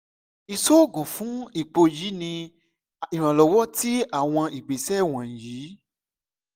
iṣoogun fun ipo yii ni iranlọwọ ti awọn igbesẹ wọnyi